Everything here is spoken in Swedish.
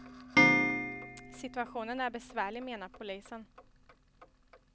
Situationen är besvärlig, menar polisen.